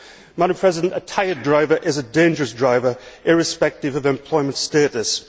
Madam President, a tired driver is a dangerous driver, irrespective of employment status